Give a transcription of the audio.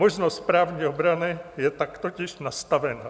Možnost správní obrany je tak totiž nastavena.